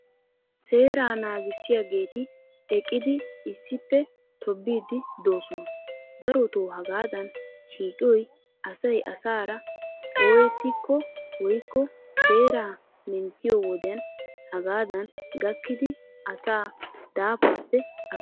Seeraa naagissiyaageeti eqqidi issippe tobbiiddi doosona. Darotoo hagaadan shiiqiyoy asay asaara oyettikko woyikko seeraa menttiyo wodiyan hagaadan gakkidi asaa daafaappe ashshoosona.